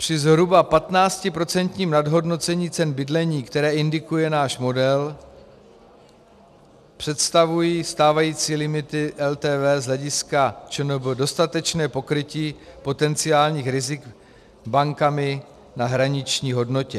Při zhruba 15% nadhodnocení cen bydlení, které indikuje náš model, představují stávající limity LTV z hlediska ČNB dostatečné pokrytí potenciálních rizik bankami na hraniční hodnotě.